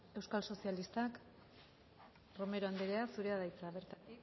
euskal sozialistak romero andrea zurea da hitza bertatik